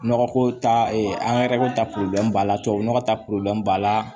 Nɔgɔ ko ta angɛrɛ ko ta b'a la tubabu nɔgɔ ta b'a la